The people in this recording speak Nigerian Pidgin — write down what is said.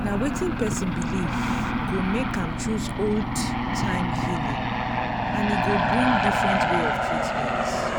na wetin person believe go make am choose old-time healing and e go bring different way of treatment.